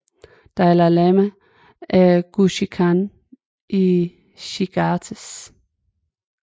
Dalai Lama af Güshi Khan i Shigatse